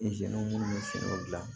minnu bɛ finiw gilan